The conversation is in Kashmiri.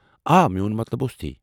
آ، میٛون مطلب اوس تی۔